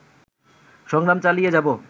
সংগ্রাম চালিয়ে যাবো